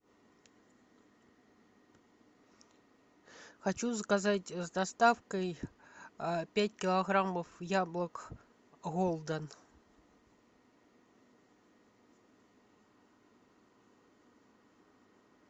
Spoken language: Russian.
хочу заказать с доставкой пять килограммов яблок голден